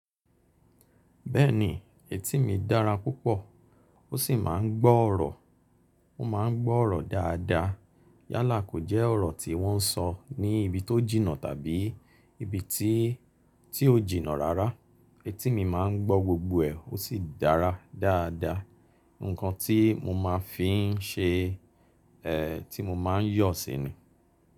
Bẹ́ẹ̀ni etí mi dára púpọ̀ ó sì máa ń gbọ́ ọ̀rọ̀, ó máa ń gbọ́ ọ̀rọ̀ dáadáa yálà kò jẹ́ ọ̀rọ̀ tí wọ́n ń sọ ní ibi tó jìnnà tàbí ibi tí, tí ó jìnnà rárá etí mi máa ń gbọ́ gbogbo ẹ̀ ó sì dára dáadáa. Ǹkan tí mo máa fi ń ṣe, ẹ, tí mo máa ń yọ̀ sínú.